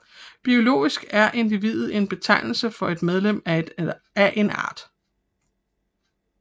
Biologisk er individet en betegnelse for et medlem af en art